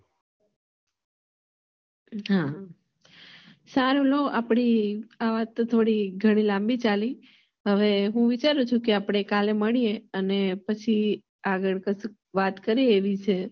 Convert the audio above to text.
સારું આપડે અ વાત થોડી ઘણી લાંબી ચાલી હવે હું વિચારું છું કે આપડે કાલે મળીયે અને પછી આગળ પછી વાત કરીએ